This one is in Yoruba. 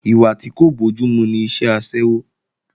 Ìwà tí kò bójúmu ni iṣẹ́ aṣẹ́wó